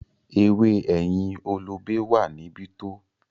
“ewé ẹ̀yìn olobe” wà níbí to.